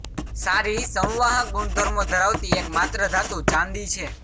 સારી સંવાહક ગુણધર્મો ધરાવતી એક માત્ર ધાતુ ચાંદી છે